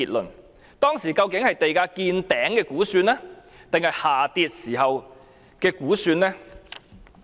聯署文件中的數據，究竟是地價見頂時的估算，還是下跌時的估算？